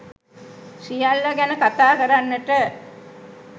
සියල්ල ගැන කතා කරන්නට